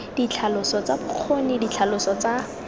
ditlhaloso tsa bokgoni ditlhaloso tsa